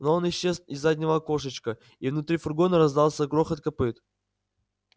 но он исчез из заднего окошечка и внутри фургона раздался грохот копыт